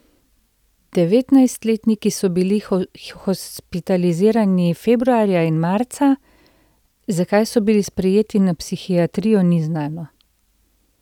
Devetnajstletniki so bili hospitalizirani februarja in marca, zakaj so bili sprejeti na psihiatrijo, ni znano.